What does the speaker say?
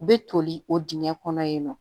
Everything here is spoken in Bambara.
U bɛ toli o dingɛ kɔnɔ yen nɔ